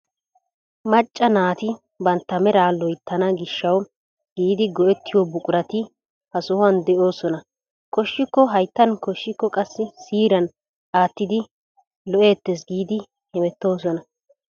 Macca naati bantta meraa loyttana giishshawu giidi go"ettiyoo buqurati ha sohuwaan de'oosona. koshshiko hayttan koshshiko qassi siiriyaan aattidi lo"eettees giidi hemettoosona.